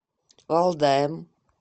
валдаем